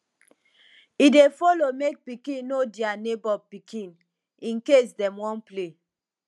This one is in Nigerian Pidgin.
e dey follow mek pikin no dia neibor pikin incase dem wan play